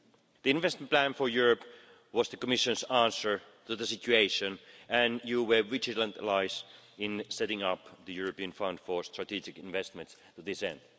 The investment plan for Europe was the Commission's answer to the situation and you were vigilant allies in setting up the European Fund for Strategic Investments to this end.